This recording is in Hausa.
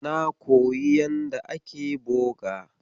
Na koyi yanda ake boga.